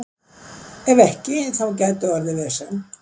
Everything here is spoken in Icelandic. Ef ekki, þá gæti orðið vesen.